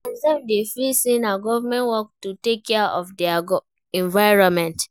Sometimes dem dey feel sey na government work to take care of their environment